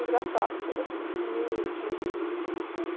Engraçado, eu só gosto de filme, de... Como é que